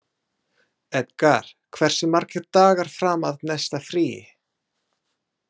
Edgar, hversu margir dagar fram að næsta fríi?